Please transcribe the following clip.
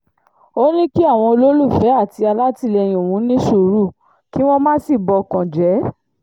ó ní kí àwọn olólùfẹ́ àti alátìlẹyìn òun ní sùúrù kí wọ́n má sì bọkàn jẹ́